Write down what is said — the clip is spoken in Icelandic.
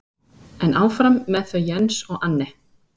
En áfram með þau Jens og Anne.